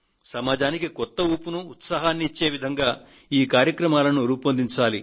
సమాజానికి కొత్త ఊపును ఉత్సాహాన్నీ ఇచ్చే విధంగా ఈ కార్యక్రమాలను రూపొందించాలి